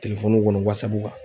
kɔnɔ Whatsapp kan